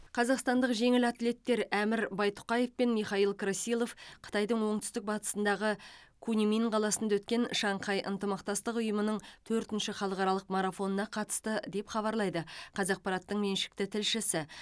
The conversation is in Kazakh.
қазақстандық жеңіл атлеттер әмір байтұқаев пен михаил красилов қытайдың оңтүстік батысындағы куньмин қаласында өткен шанхай ынтымақтастық ұйымының төртінші халықаралық марафонына қатысты деп хабарлайды қазақпараттың меншікті тілшісі